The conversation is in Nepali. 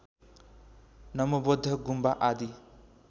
नमोबौद्ध गुम्बा आदि